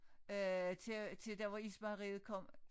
Øh til til der hvor ismejeriet kom